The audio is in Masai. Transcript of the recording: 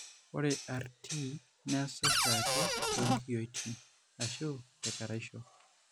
Ore RT neasa oshiake toonkiyioitin ashu tekeraisho.